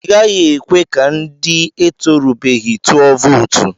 I gaghị ekwe ka ndị etorubeghi tụọ vootu.